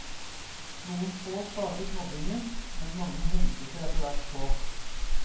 Noen få startet mobbingen, men mange hengte seg etterhvert på.